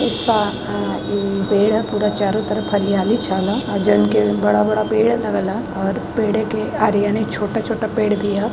आ अ पेड़ ह पूरा चारों तरफ हरियाली छावल ह और जउन के बड़ा-बड़ा पेड़ लगल ह और पेड़े के छोटा -छोटा पेड़ भी ह --